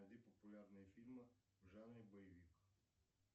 найди популярные фильмы в жанре боевик